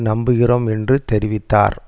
நம்புகிறோம் என்று தெரிவித்தார்